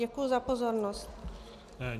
Děkuji za pozornost.